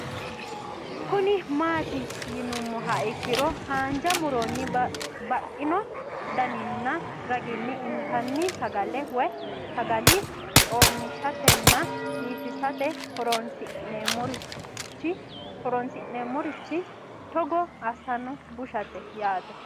Kuni mati yinumoha ikiro hanja muroni babaxino daninina ragini intani sagale woyi sagali comishatenna bifisate horonsine'morich Togo asano bushate yaate